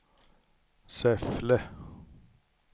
Säffle